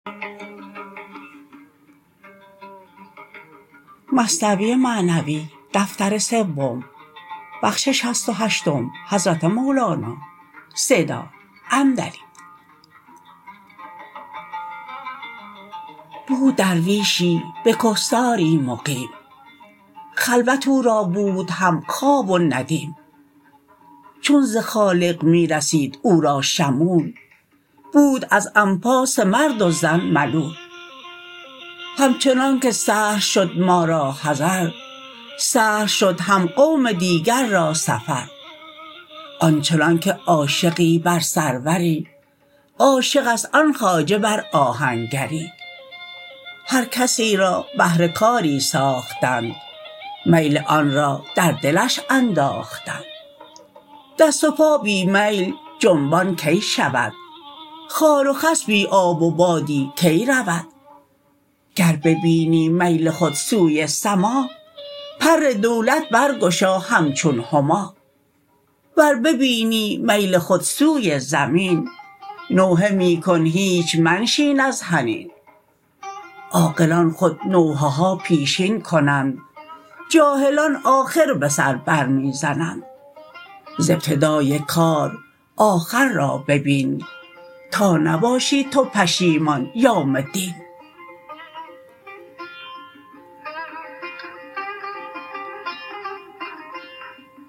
بود درویشی به کهساری مقیم خلوت او را بود هم خواب و ندیم چون ز خالق می رسید او را شمول بود از انفاس مرد و زن ملول همچنانک سهل شد ما را حضر سهل شد هم قوم دیگر را سفر آنچنانک عاشقی بر سروری عاشقست آن خواجه بر آهنگری هر کسی را بهر کاری ساختند میل آن را در دلش انداختند دست و پا بی میل جنبان کی شود خار و خس بی آب و بادی کی رود گر ببینی میل خود سوی سما پر دولت برگشا همچون هما ور ببینی میل خود سوی زمین نوحه می کن هیچ منشین از حنین عاقلان خود نوحه ها پیشین کنند جاهلان آخر به سر بر می زنند ز ابتدای کار آخر را ببین تا نباشی تو پشیمان یوم دین